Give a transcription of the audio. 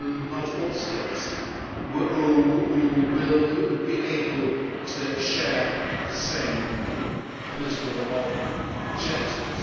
not all states will be able to share the same political objectives.